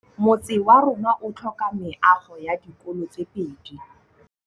Motse warona o tlhoka meago ya dikolô tse pedi.